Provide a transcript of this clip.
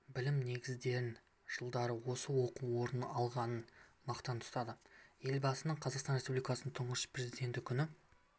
білім негіздерін жылдары осы оқу орнында алғанын мақтан тұтады елбасының қазақстан республикасының тұңғыш президенті күні